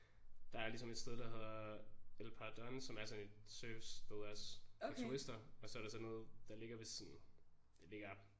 Der er ligesom et sted der hedder El Paredon som er sådan et surfsted også for turister og så er der sådan noget der ligger ved sådan det ligger